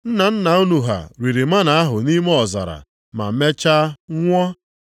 Nna nna unu ha riri mánà ahụ nʼime ọzara ma mecha nwụọ.